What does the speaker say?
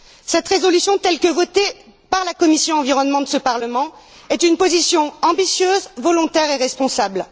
Cette résolution, telle que votée par la commission de l'environnement de ce Parlement, est une position ambitieuse, volontaire et responsable.